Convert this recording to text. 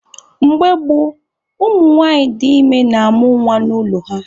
Mgbe gboo, ụmụ nwanyị dị ime na-amụ nwa n'ụlọ ha.